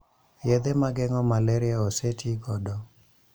Yedhe mageng'o malaria ose tii godo